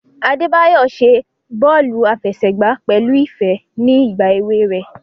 Adebayo ṣe bọọlu afẹsẹgba pẹlu ifẹ ni igba ewe rẹ.